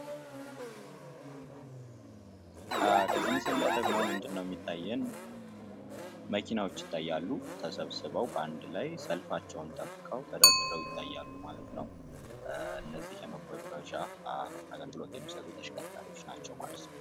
ከዚህ ምስል ላይ ደግሞ ምንድን ነው የሚታየን መኪናዎች ይታያሉ። ተሰብስበው በአንድ ላይ ረድፋቸውን ጠብቀው፣ ተደርድረው ይታያሉ። ማለት ነው። እነዘእሁ የመጓጓዣ አገልግሎት የሚሰጡ ተሽከርካሪዎች ናቸው ማለት ነው።